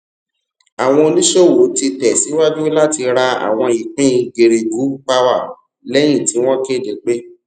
àwọn oníṣòwò ti tẹ síwájú láti ra àwọn ìpín geregu power lẹyìn tí wọn kéde pé